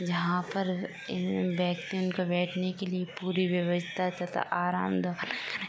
यहां पर बैठने के लिए पूरी व्यवस्था तथा आराम --